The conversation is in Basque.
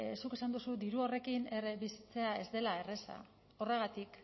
zuk esan duzu diru horrekin bizitzea ez dela erraza horregatik